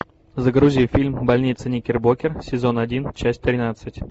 загрузи фильм больница никербокер сезон один часть тринадцать